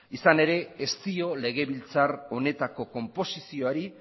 izan ere ez dio legebiltzar honetako konposizioari